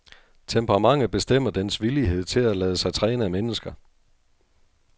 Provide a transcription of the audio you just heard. Temperamentet bestemmer dens villighed til at lade sig træne af mennesker.